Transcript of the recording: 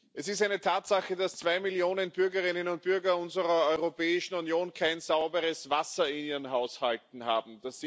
Es ist eine Tatsache, dass zwei Millionen Bürgerinnen und Bürger unserer Europäischen Union kein sauberes Wasser in ihren Haushalten haben.